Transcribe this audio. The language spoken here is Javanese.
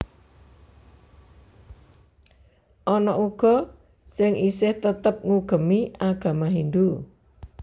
Ana uga sing isih tetep ngugemi agama Hindhu